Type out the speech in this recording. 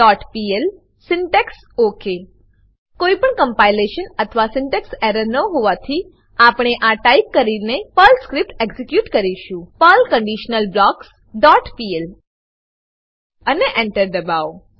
conditionalblocksપીએલ syntax OK કોઈપણ compilation અથવા syntax error ન હોવાથી આપણે આ ટાઈપ કરીને પર્લ સ્ક્રીપ્ટ એક્ઝીક્યુટ કરીશું પર્લ કન્ડિશનલબ્લોક્સ ડોટ પીએલ અને Enter એન્ટર દબાવો